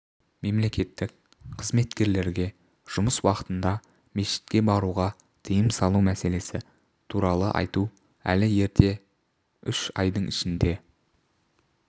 мемлекеттік қызметкерлерге жұмыс уақытында мешітке баруға тыйым салу мәселесі туралы айту әлі ерте үш айдын ішінде